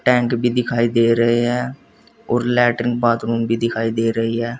Tank भी दिखाई दे रहे हैं और लैट्रिन बाथरूम भी दिखाई दे रही है।